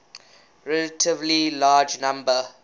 relatively large number